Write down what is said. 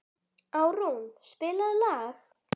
Árún, spilaðu lag.